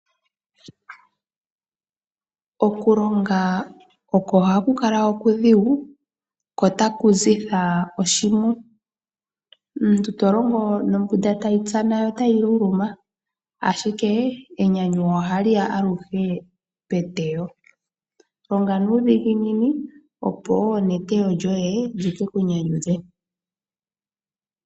Okulonga oko haku kala okudhigu ko taku zitha omazigudhe, omuntu to longo nombunda tayi tsana yo tayi luluma, ashike enyanyu ohali ya aluhe peteyo. Longa nuudhiginini, opo wo neteyo lyoye li ke ku nyanyudhe.